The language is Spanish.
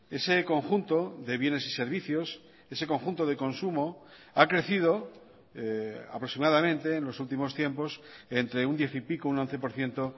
ese conjunto de bienes y servicios ese conjunto de consumo ha crecido aproximadamente en los últimos tiempos entre un diez y pico un once por ciento